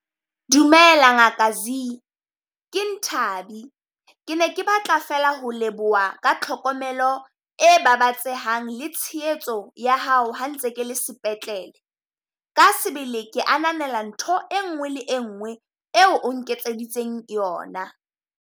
Dumela Ngaka Zee ke Nthabi. Ke ne ke batla fela ho leboha ka tlhokomelo e babatsehang le tshehetso ya hao ha ntse ke le sepetlele. Ka sebele ke ananela ntho e nngwe le e ngwee eo o nketseditseng yona.